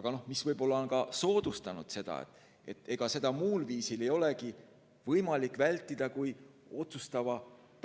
Aga võib-olla on see soodustanud ka seda, et ega seda muul viisil ei olegi võimalik vältida kui otsustava